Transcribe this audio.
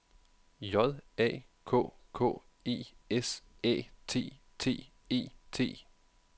J A K K E S Æ T T E T